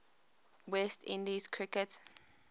west indies cricket